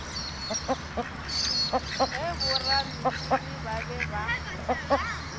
ge borameriri ba be ba